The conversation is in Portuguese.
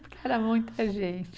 Porque era muita gente.